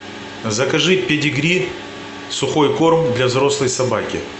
закажи педигри сухой корм для взрослой собаки